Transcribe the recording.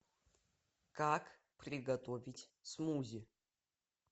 как приготовить смузи